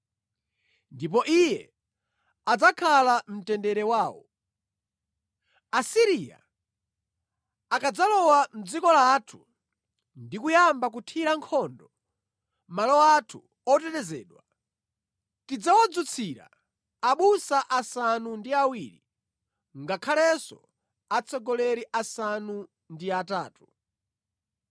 Ndipo Iye adzakhala mtendere wawo. Chipulumutso ndi Chiwonongeko Asiriya akadzalowa mʼdziko lathu ndi kuyamba kuthira nkhondo malo athu otetezedwa, tidzawadzutsira abusa asanu ndi awiri, ngakhalenso atsogoleri asanu ndi atatu.